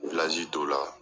dɔn la